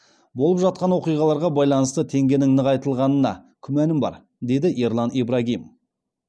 болып жатқан оқиғаларға байланысты теңгенің нығайтылғанына күмәнім бар деді ерлан ибрагим